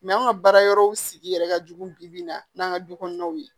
an ka baara yɔrɔw sigi yɛrɛ ka jugu bibi in na n'an ka du kɔnɔnaw ye